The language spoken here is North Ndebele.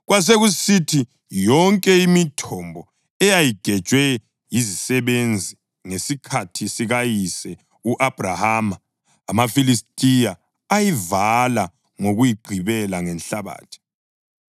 Kwasekusithi yonke imithombo eyayigejwe yizisebenzi ngesikhathi sikayise u-Abhrahama, amaFilistiya ayivala ngokuyigqibela ngenhlabathi.